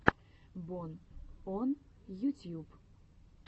бон он ютьюб